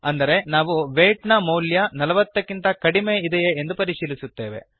ಅಂದರೆ ನಾವು wheat weight ನ ಮೌಲ್ಯ ೪೦ ನಲವತ್ತಕ್ಕಿಂತ ಕಡಿಮೆ ಇದೆಯೇ ಎಂದು ಪರಿಶೀಲಿಸುತ್ತಿದ್ದೇವೆ